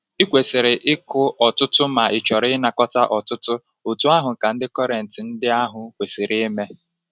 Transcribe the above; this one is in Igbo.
I kwesịrị ịkụ ọtụtụ ma ịchọrọ ịnakọta ọtụtụ, otú ahụ ka ndị Kọrịnt ndị ahụ kwesiri ime.